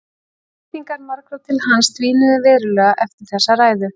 Væntingar margra til hans dvínuðu verulega eftir þessa ræðu.